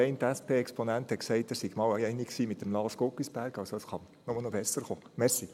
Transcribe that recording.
Der eine SP-Exponent hat gesagt, er sei sich mal mit Lars Guggisberg einig gewesen.